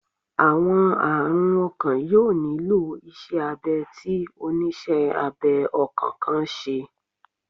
Awọn arun ọkan yoo nilo iṣẹ abẹ ti oniṣẹ abẹ ọkan kan ṣe